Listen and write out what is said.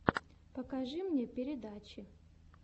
покажи мне передачи